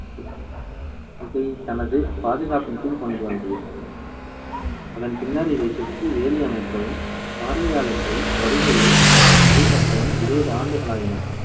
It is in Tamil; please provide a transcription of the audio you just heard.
இதைத்தனது பாதுகாப்பின் கீழ்க்கொண்டு வந்தது. அதன் பின்னர் இதைச் சுற்றி வேலி அமைக்கவும், பார்வையாளர்களின் வருகையை முறைப்படுத்தவும் இருபது ஆண்டுகளாயின.